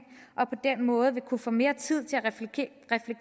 og på den måde vil kunne få mere tid